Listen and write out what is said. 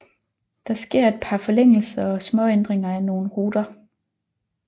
Der sker et par forlængelser og småændringer af nogle ruter